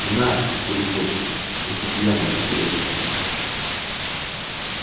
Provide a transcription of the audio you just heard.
она как и любовь только пьяным настоящей кажется